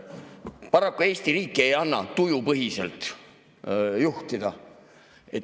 –, siis paraku Eesti riiki ei anna tujupõhiselt juhtida.